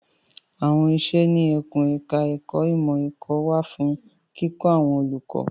À́wọn iṣẹ́ ní ẹkùn ẹ̀ka ẹ̀kó ìmọ̀ ẹ̀kọ́ wà fún kíkọ́ àwọn olùkọ́.